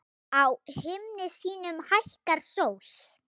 Á himni sínum hækkar sól.